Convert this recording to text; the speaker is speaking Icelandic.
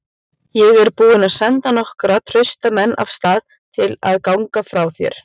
Ég er búinn að senda nokkra trausta menn af stað til að ganga frá þér.